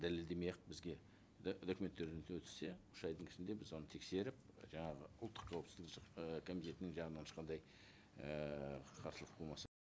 дәлелдемей ақ бізге документтерін өткізсе үш айдың ішінде біз оны тексеріп жаңағы ұлттық қауіпсіздік ііі комитетінің жағынан ешқандай ііі қарсылық болмаса